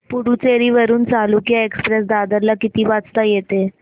पुडूचेरी वरून चालुक्य एक्सप्रेस दादर ला किती वाजता येते